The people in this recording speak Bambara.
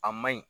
A ma ɲi